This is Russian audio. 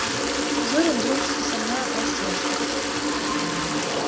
зурин дружески со мною простился